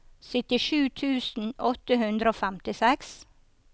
syttisju tusen åtte hundre og femtiseks